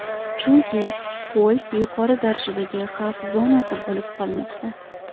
Chunki ko‘l yuqori darajadagi xavf zonasi bo‘lib qolmoqda.